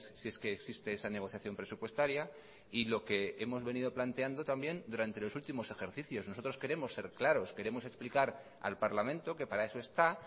si es que existe esa negociación presupuestaria y lo que hemos venido planteando también durante los últimos ejercicios nosotros queremos ser claros queremos explicar al parlamento que para eso está